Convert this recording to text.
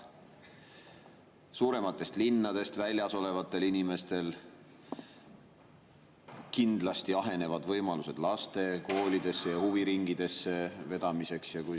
Suurematest linnadest väljas elavatel inimestel kindlasti ahenevad võimalused laste koolidesse ja huviringidesse vedamiseks.